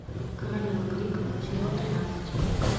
королева крика сезон тринадцать